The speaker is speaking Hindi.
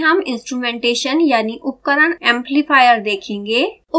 आगे हम instrumentation यानि उपकरण एम्प्लीफायर देखेंगे